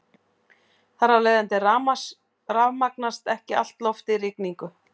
Þar af leiðandi rafmagnast ekki allt loftið í rigningu.